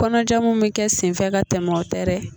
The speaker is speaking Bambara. Kɔnɔja mun bɛ kɛ senfɛ ka tɛmɛ o tɛ dɛ.